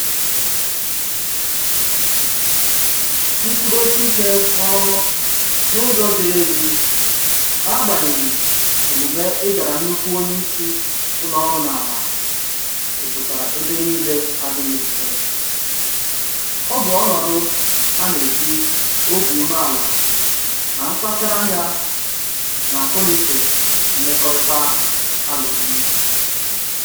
Nkwụdosike n'ọrụ n'ụzọ ziri ezi n'agbanyeghị omume ịdara nnukwu onye isi ụlọ ọrụ n'ala a juputara ebe niile adịghị mfe, ọ bụ ọnọdụ a na-eji obi umeala na mkpacharanya, na akọnuche mmekọrịta alụgbu